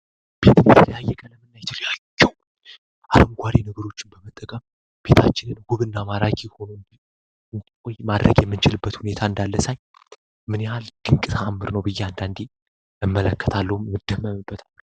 ቤትንትርያየቀለምና ይትልያቸው አረምጓሬ ንግሮችን በመጠጋብ ፊታችንን ውብ እና ማራኪ ሆኖንንይ ማድረግ የምንችልበት ሁኔታ እንዳለሳኝ ምንያል ድንቅትእምር ነው ብያእንዳንዲ የመለከታለውም ምድመምበታል፡፡